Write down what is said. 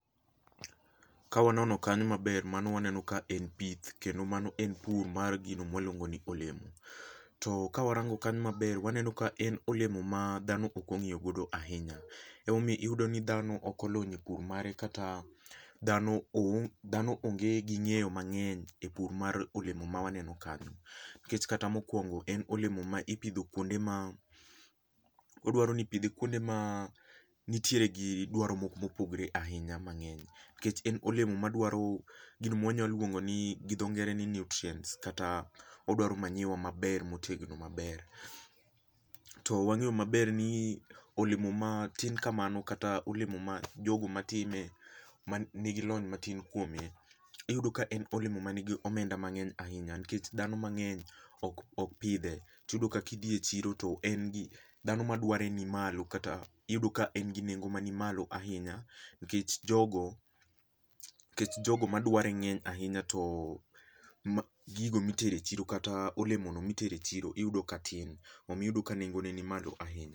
Ka wanono kanyo maber mano waneno ka en pith kendo mano en pur mar gino ma waluongo ni olemo. To kawarango kanyo maber waneno ka en olemo ma dhano ok ong'iyo godo ahinya. Emomiyo yudo ni dhano ok olony e pur mare kata dhano owuon dhano onge gi ng'eyo mang'eny e pur mar olemo mawaneno kani. Nikech kata mokuongo en olemo ma ipidho kuonde ma oduaro ni ipidhe kuonde ma nitiere gi duaro mopogore ahinya mang'eny nikech en olemo madwaro gino mawanyalo longo ni gi dho ngere ni nutrients kata odwaro manyiwa maber motegno maber. To wang'eyo maber ni olemo matin kamano kata olemo ma jogo matime manigi lony matin kuome iyudo ka en olemo manigi omenda mang'eny ahinya nikech dhano mang'eny ok ok pidhe. Iyudo ka idhi e chiro to en gi dhano madware ni malo kata iyudo ka en gi nengo manimalo ahinya nikech jogo nikech jogo madware ng'eny ahinya to gigo mitero e chiro kata olemono mitero e chiro iyudo ka tin omiyo iyudo ka nengone ni malo ahinya.